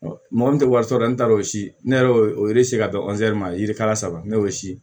Mɔgɔ min tɛ wari sɔrɔ dɛ ne t'a dɔn o si ne yɛrɛ y'o o se ka dɔn ma yirikala saba ne y'o si ye